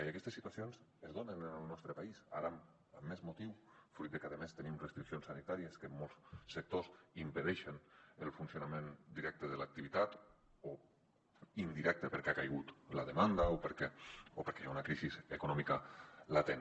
i aquestes situacions es donen en el nostre país ara amb més motiu fruit de que a més tenim restriccions sanitàries que en molts sectors impedeixen el funcionament directe de l’activitat o indirecte perquè ha caigut la demanda o perquè hi ha una crisi econòmica latent